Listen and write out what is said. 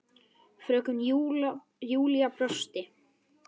Fröken Júlía brosti.